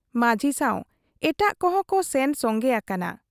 ᱢᱟᱹᱡᱷᱤ ᱥᱟᱶ ᱮᱴᱟᱜ ᱠᱚᱦᱚᱸ ᱠᱚ ᱥᱮᱱ ᱥᱚᱝᱜᱮ ᱟᱠᱟᱱᱟ ᱾